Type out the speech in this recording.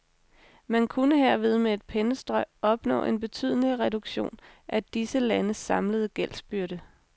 Man kunne herved med et pennestrøg opnå en betydelig reduktion af disse landes samlede gældsbyrde.